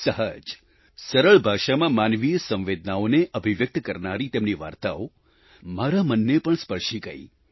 સહજ સરળ ભાષામાં માનવીય સંવેદનાઓને અભિવ્યક્ત કરનારી તેમની વાર્તાઓ મારા મનને પણ સ્પર્શી ગઈ